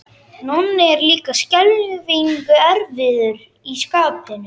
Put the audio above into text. Nonni er líka skelfing erfiður í skapinu.